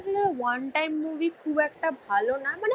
One time movie খুব একটা ভালো না. মানে